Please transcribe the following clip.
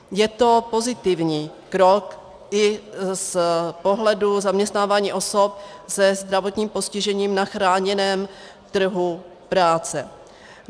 Je to pozitivní krok i z pohledu zaměstnávání osob se zdravotním postižením na chráněném trhu práce.